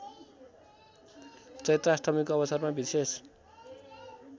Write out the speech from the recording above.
चैत्राष्टमीको अवसरमा विशेष